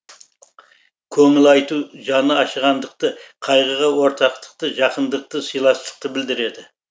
көңіл айту жаны ашығандықты қайғыға ортақтықты жақындықты сыйластықты білдіреді